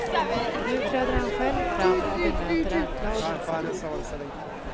Nu träder han själv fram och bemöter anklagelserna.